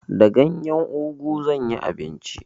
Da ganyen ugu zan yi abinci.